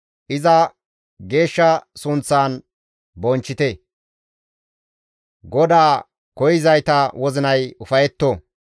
Iza geeshsha sunththaan bonchchite; GODAA koyzayta wozinay ufayetto.